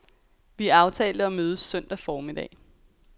Vi aftalte at mødes søndag formiddag.